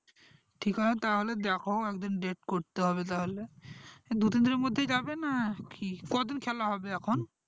ঠিক আছে তাহলে দ্যাখো একদিন date করতে হবে তাহলে দুদিনের মধ্যে যাবে না কি কদিন খেলা হবে এখন